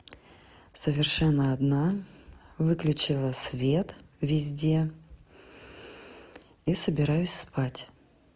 совершенно одна выключила свет везде и собираюсь спать